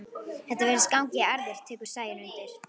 Þetta virðist ganga í erfðir, tekur Sæunn undir.